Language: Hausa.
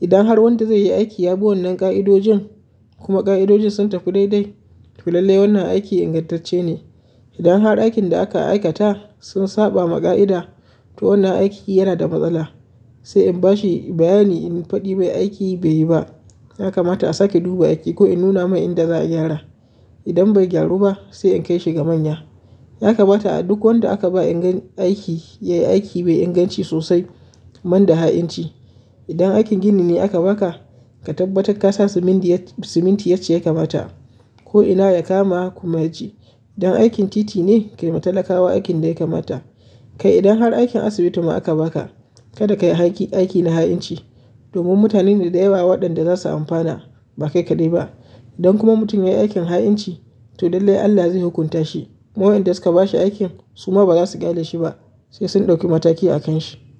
Idan har wanda zai yi aiki ya bi wannan ƙa'idojin kuma ƙa'idojin sun tafi dai dai, to lallai wannan aiki ingantacce ne. Idan har aikin da aka aikata sun saba ma ƙa'ida, to wannan aiki yana da matsala, sai in bashi bayani in faɗi mai aiki bai yi ba. Ya kamata a sake duba aiki ko in nuna mai inda za a gyara. Idan bai gyaru ba sai in kai shi ga manya. Ya kamata a duk wanda aka ba ingan, aiki yai aiki mai inganci sosai ban da ha'inci. Idan aikin gini ne aka baka, ka tabbatar ka sa siminti yacci ya kamata ko inna ya kama kuma yaji. Idan aikin titi ne, kai ma talakawa aikin da ya kamata. Kai idan har aikin asibiti ma aka baka, kada ka yi aiki na ha'inci domin mutane da da yawa waɗanda za su amfana ba kai kaɗai ba. Idan kuma mutum ya yi aikin ha'inci, to dallai Allah zai hukunta shi. Kuma wayanda suka bashi aikin su ma ba za su ƙyale shi ba sai sun ɗauki mataki a kan shi.